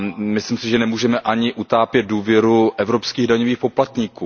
Myslím si, že nemůžeme ani utápět důvěru evropských daňových poplatníků.